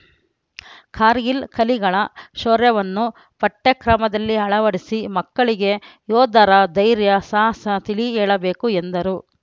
ಕಾರ್ಗಿಲ್‌ ಕಲಿಗಳ ಶೌರ್ಯವನ್ನು ಪಠ್ಯಕ್ರಮದಲ್ಲಿ ಅಳವಡಿಸಿ ಮಕ್ಕಳಿಗೆ ಯೋಧರ ದೈರ್ಯ ಸಾಹಸ ತಿಳಿ ಹೇಳಬೇಕು ಎಂದರು